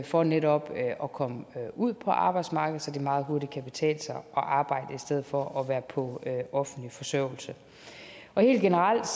for netop at komme ud på arbejdsmarkedet så det meget hurtigt kan betale sig at arbejde i stedet for at være på offentlig forsørgelse og helt generelt